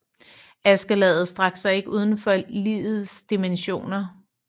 Askelaget strakte sig ikke udenfor Ligets Dimensioner